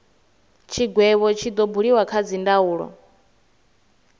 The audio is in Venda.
tshigwevho tshi do buliwa kha dzindaulo